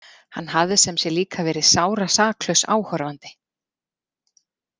Hann hafði sem sé líka verið sárasaklaus áhorfandi.